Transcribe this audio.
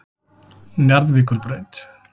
Njarðvíkurbraut